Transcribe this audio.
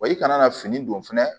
Wa i kana na fini don fɛnɛ